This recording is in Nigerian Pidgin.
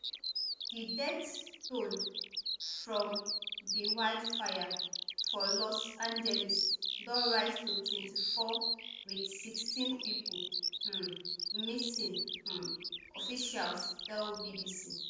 di death toll from di wildfire for los angeles don rise to twenty-four wit sixteen pipo um missing um officials tell bbc